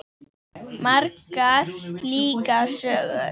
Margar slíkar sögur.